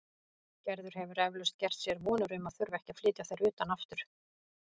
Gerður hefur eflaust gert sér vonir um að þurfa ekki að flytja þær utan aftur.